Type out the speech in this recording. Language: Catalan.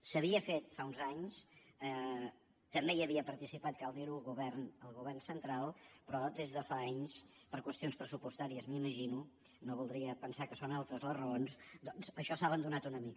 s’havia fet fa uns anys també hi havia participat cal dir ho el govern central però des de fa anys per qüestions pressupostàries m’imagino no voldria pensar que són altres les raons doncs això s’ha abandonat una mica